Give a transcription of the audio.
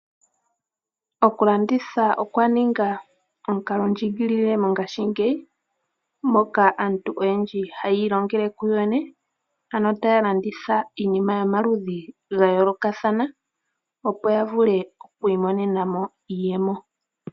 Okulanditha okwa ninga omukalondjigilile mongashingeyi moka aantu oyendji haya ilongele kuyo yene ano taya landitha iinima yomaludhi ga yoolokathana opo ya vule okwiimonena mo iiyemo.